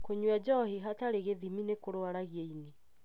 Kũnyua njohi hatarĩ gĩthimi ni kũrwaragia ini.